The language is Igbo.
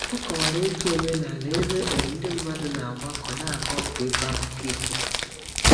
Ọ kọwara otu omenala ebe um ndị mmadụ na-agbakọ n'aga ọkụ ịkọ akụkọ ifo.